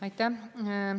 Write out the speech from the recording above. Aitäh!